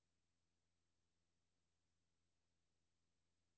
Det ville være en forfærdelig heksekedel at fyre op under.